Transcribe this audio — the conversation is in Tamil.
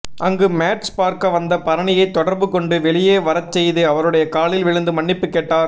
அங்கு மேட்ச் பார்க்க வந்த பரணியை தொடர்பு கொண்டு வெளியே வரச்செய்து அவருடைய காலில் விழுந்து மன்னிப்பு கேட்டார்